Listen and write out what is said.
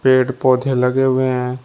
पेड़ पौधे लगे हुए हैं।